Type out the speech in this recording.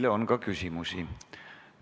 Teile on ka küsimusi.